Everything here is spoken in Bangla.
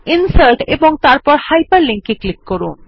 ইনসার্ট এবং তারপর Hyperlink এ ক্লিক করুন